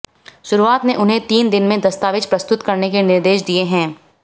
शुरुआत में उन्हें तीन दिन में दस्तावेज प्रस्तुत करने के निर्देश दिए हैं